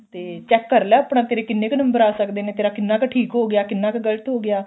ਤੇ check ਕਰ ਲੈ ਆਪਣਾ ਤੇਰੇ ਕਿੰਨੇ ਕ ਨੰਬਰ ਆ ਸਕਦੇ ਨੇ ਤੇਰਾ ਕਿੰਨਾ ਕ ਠੀਕ ਹੋ ਗਿਆ ਕਿੰਨਾ ਕ ਗਲਤ ਹੋ ਗਿਆ